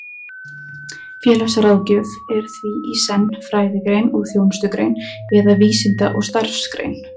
Félagsráðgjöf er því í senn fræðigrein og þjónustugrein, eða vísinda- og starfsgrein.